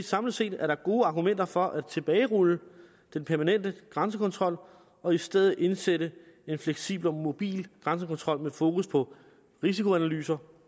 samlet set er der gode argumenter for at tilbagerulle den permanente grænsekontrol og i stedet indsætte en fleksibel og mobil grænsekontrol med fokus på risikoanalyser